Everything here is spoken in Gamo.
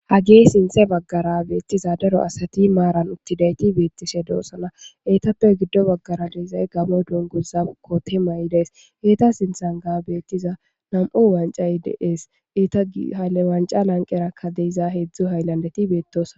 Hage sinthe baggara beetiza daro asati maaran uttidayti beetishe de'oosona. Eetape giddo baggara de'iyay gamo dunguza koote mayidees. Eeta sintheraka nam'u wancay de'ees. Eeta lanqeraka heedzu haylandeti de'osona.